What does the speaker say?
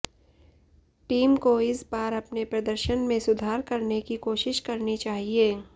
team को इस बार अपने प्रदर्शन में सुधार करने की कोशिश करनी चाहिए